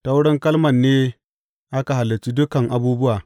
Ta wurin Kalman ne aka halicci dukan abubuwa.